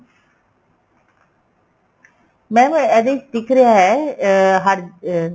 ਇਹਦੇ ਵਿੱਚ ਦਿਖ ਰਿਹਾ ਹੈ ਅਹ ਹਰ ਅਹ